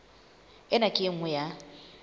ena ke e nngwe ya